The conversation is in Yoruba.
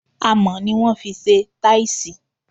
Amò ni wọn fise taisi